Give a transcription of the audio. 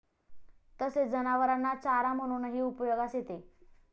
तसेच जनावरांना चारा म्हणूनही उपयोगास येते.